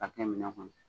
Ka kɛ minɛn kɔnɔ